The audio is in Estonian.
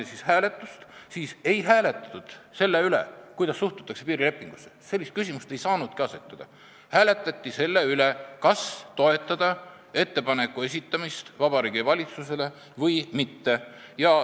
Ja ei hääletatud selle üle, kuidas suhtutakse piirilepingusse, sellist küsimust ei saanudki asetada, hääletati selle üle, kas toetada ettepaneku esitamist Vabariigi Valitsusele või mitte.